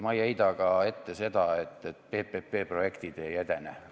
Ma ei heida ka ette seda, et PPP projektid ei edene.